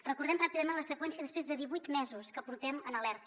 recordem ràpidament la seqüència després de divuit mesos que portem en alerta